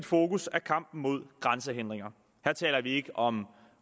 fokus er kampen mod grænsehindringer her taler vi ikke om